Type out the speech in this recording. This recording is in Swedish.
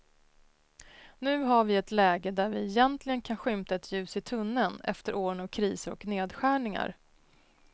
Nu har vi ett läge där vi äntligen kan skymta ett ljus i tunneln efter åren av kriser och nedskärningar.